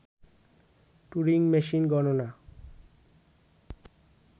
Turing machine গণনা